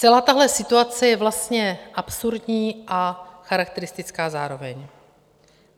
Celá tahle situace je vlastně absurdní a charakteristická zároveň.